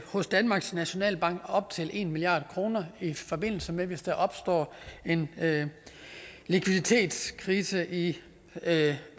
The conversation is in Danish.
hos danmarks nationalbank på op til en milliard kr i forbindelse med hvis der opstår en likviditetskrise i